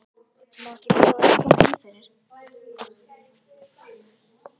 Má ekki bjóða þér að koma inn fyrir?